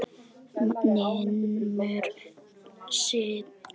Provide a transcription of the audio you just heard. Naumur sigur.